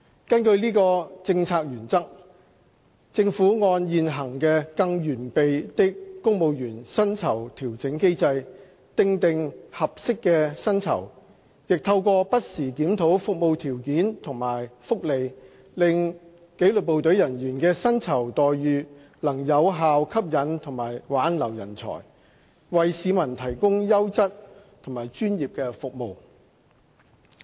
根據此政策原則，政府按現行的"更完備的公務員薪酬調整機制"，訂定合適的薪酬，亦透過不時檢討服務條件和福利，令紀律部隊人員的薪酬待遇能有效吸引和挽留人才，為市民提供優質和專業的服務。